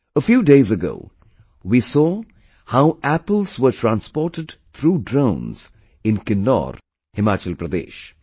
A few days ago we saw how apples were transported through drones in Kinnaur, Himachal Pradesh